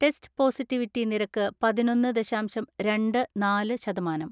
Test positivity നിരക്ക് പതിനൊന്ന്‌ ദശാംശം രണ്ട് നാല് ശതമാനം.